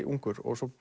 ungur og